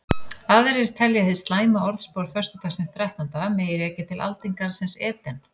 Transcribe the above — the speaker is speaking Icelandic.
Aðrir telja hið slæma orðspor föstudagsins þrettánda mega rekja til aldingarðsins Eden.